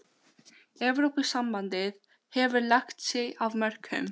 Evrópusambandið hefur lagt sitt af mörkum.